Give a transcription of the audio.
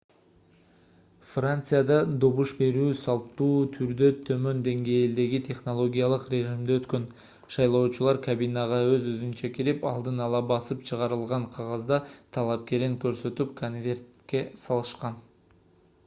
францияда добуш берүү салттуу түрдө төмөн деңгээлдеги технологиялык режимде өткөн шайлоочулар кабинага өз-өзүнчө кирип алдын ала басып чыгарылган кагазда талапкерин көрсөтүп конвертке салышкан